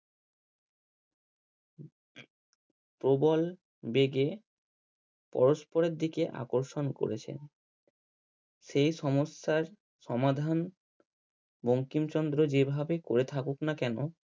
প্রবল বেগে পরস্পরের দিকে আকর্ষণ করেছেন। সেই সমস্যার সমাধান বঙ্কিমচন্দ্র যেভাবে করে থাকুক না কেন